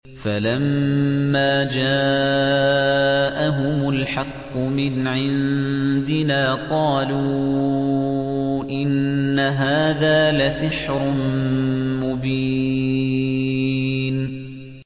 فَلَمَّا جَاءَهُمُ الْحَقُّ مِنْ عِندِنَا قَالُوا إِنَّ هَٰذَا لَسِحْرٌ مُّبِينٌ